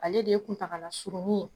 Ale de ye kuntagala surunni ye